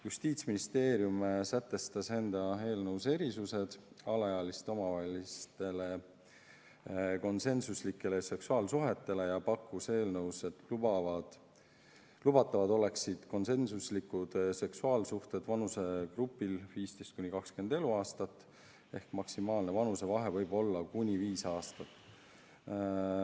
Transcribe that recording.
Justiitsministeerium sätestas enda eelnõus erisused alaealiste omavahelistele konsensuslikele seksuaalsuhetele ja pakkus eelnõus, et lubatavad oleksid seksuaalsuhted vanusegrupis 15–20 eluaastat ehk maksimaalne vanusevahe võib olla viis aastat.